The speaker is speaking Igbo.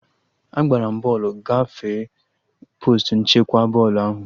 Agbara m bọọlụ gafere postu nchekwa bọọlụ ahụ